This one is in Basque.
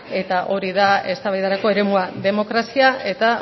eta hori da eztabaidarako eremua demokrazia eta